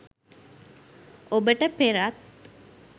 ඔබට පෙරත්